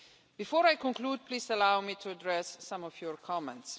Before I conclude, please allow me to address some of your comments.